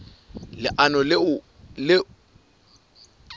leano le ona o hlokometse